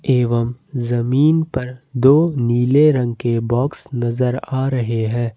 एवं जमीन पर दो नीले रंग के बॉक्स नजर आ रहे हैं।